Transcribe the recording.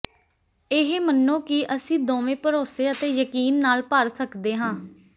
ਇਹ ਮੰਨੋ ਕਿ ਅਸੀਂ ਦੋਵੇਂ ਭਰੋਸੇ ਅਤੇ ਯਕੀਨ ਨਾਲ ਭਰ ਸਕਦੇ ਹਾਂ